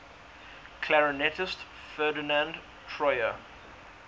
clarinetist ferdinand troyer